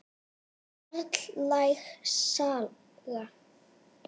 Karllæg saga?